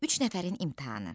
Üç nəfərin imtahanı.